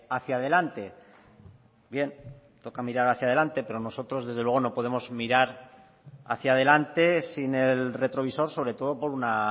hacia delante bien toca mirar hacia delante pero nosotros desde luego no podemos mirar hacia delante sin el retrovisor sobre todo por una